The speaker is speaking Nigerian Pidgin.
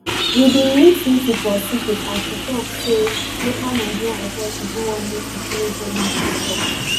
we bin meet lisu for secret as she tok say local nigerian authorities no wan make she follow journalists tok